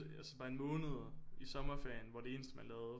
Altså bare en måned i sommerferien hvor det eneste man lavede